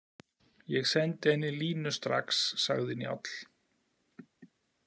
Ég sendi henni línu strax, sagði Njáll.